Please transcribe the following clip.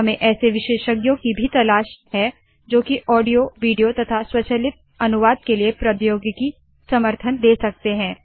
हम ऐसे विशेषज्ञों की भी तलाश मैं है जो की ऑडियो विडियो तथा स्वचलित अनुवाद के लिए प्रौद्योगिकी समर्थन दे सकते है